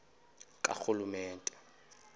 karhulumente